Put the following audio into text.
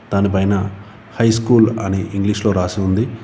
దాని పైన హైస్కూల్ అని ఇంగ్లీష్ లో రాసి ఉంది.